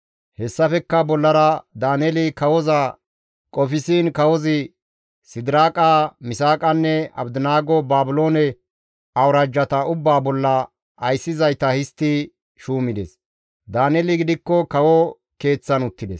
Hessafekka bollara Daaneeli kawoza qofsiin kawozi Sidiraaqa, Misaaqanne Abdinaago Baabiloone awuraajjata ubbaa bolla ayssizayta histti shuumides; Daaneeli gidikko kawo keeththan uttides.